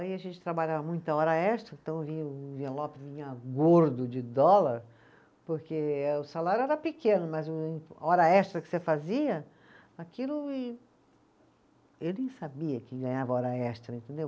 Aí a gente trabalhava muita hora extra, então vinha o envelope vinha gordo de dólar, porque eh o salário era pequeno, mas o e hora extra que você fazia, aquilo e sabia que ganhava hora extra, entendeu?